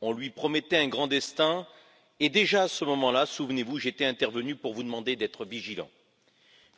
On lui promettait un grand destin et, déjà à ce moment là, souvenez vous, j'étais intervenu pour vous demander d'être vigilants.